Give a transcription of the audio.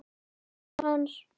Hendur hans.